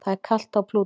Það er kalt á Plútó.